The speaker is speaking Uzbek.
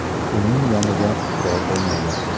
Uning yonida qurol bo‘lmagan.